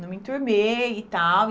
Não me enturmei e tal. E